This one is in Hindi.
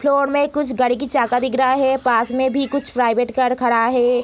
फ्लोर में कुछ गाड़ी की चाका दिख रहा है | पास में भी कुछ प्राइवेट कार खड़ा है ।